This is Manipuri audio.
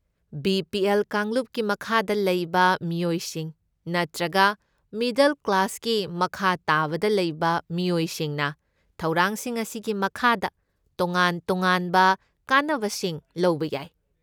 ꯕꯤ.ꯄꯤ.ꯑꯦꯜ. ꯀꯥꯡꯂꯨꯞꯀꯤ ꯃꯈꯥꯗ ꯂꯩꯕ ꯃꯤꯌꯣꯏꯁꯤꯡ, ꯅꯠꯇ꯭ꯔꯒ ꯃꯤꯗꯜ ꯀ꯭ꯂꯥꯁꯀꯤ ꯃꯈꯥ ꯇꯥꯕꯗ ꯂꯩꯕ ꯃꯤꯑꯣꯏꯁꯤꯡꯅ ꯊꯧꯔꯥꯡꯁꯤꯡ ꯑꯁꯤꯒꯤ ꯃꯈꯥꯗ ꯇꯣꯉꯥꯟ ꯇꯣꯉꯥꯟꯕ ꯀꯥꯟꯅꯕꯁꯤꯡ ꯂꯧꯕ ꯌꯥꯏ꯫